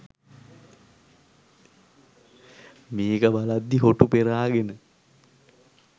මේක බලද්දි හොටු පෙරාගෙන